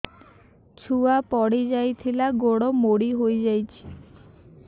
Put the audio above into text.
ଛୁଆ ପଡିଯାଇଥିଲା ଗୋଡ ମୋଡ଼ି ହୋଇଯାଇଛି